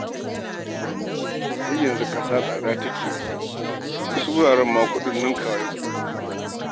Ai yanzu ƙasa tsada take yi, wasu wuraren ma ninkawa kuɗin yake.